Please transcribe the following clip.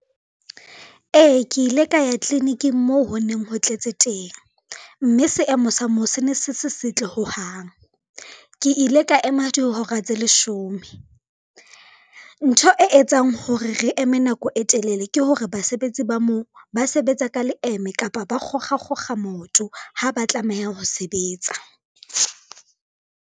Ee, ke ile ka ya tliliniking moo ho neng ho tletse teng, mme seemo sa mose ne se se setle hohang, ke ile ka ema dihora tse leshome. Ntho e etsang hore re eme nako e telele ke hore basebetsi ba moo, ba sebetsa ka leeme kapa ba kgokga kgokga maoto ha ba tlameha ho sebetsa.